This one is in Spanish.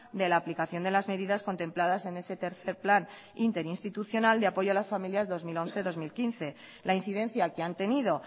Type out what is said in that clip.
de la aplicación de las medidas contempladas en ese tres plan interinstitucional de apoyo a las familias dos mil catorce dos mil quince la incidencia que han tenido